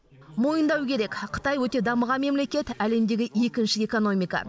мойындау керек қытай өте дамыған мемлекет әлемдегі екінші экономика